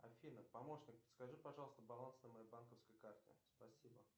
афина помощник подскажи пожалуйста баланс на моей банковской карте спасибо